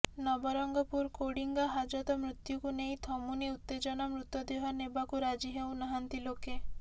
ନବରଙ୍ଗପୁର କୋଡିଙ୍ଗା ହାଜତ ମୃତ୍ୟୁକୁ ନେଇ ଥମୁନି ଉତ୍ତେଜନା ମୃତଦେହ ନେବାକୁ ରାଜି ହେଉନାହାନ୍ତି ଲୋକେ